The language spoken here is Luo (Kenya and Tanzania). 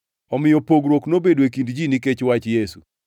Omiyo pogruok nobedo e kind ji nikech wach Yesu.